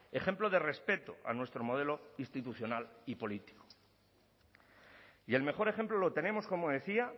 ejemplo de respeto a nuestro modelo institucional y político y el mejor ejemplo lo tenemos como decía